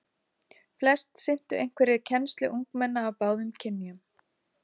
Flest sinntu einhverri kennslu ungmenna af báðum kynjum.